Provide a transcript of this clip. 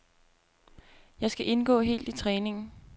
Jeg skal indgå helt i træningen.